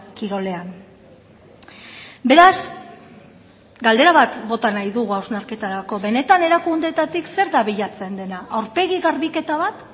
kirolean beraz galdera bat bota nahi dugu hausnarketarako benetan erakundeetatik zer da bilatzen dena aurpegi garbiketa bat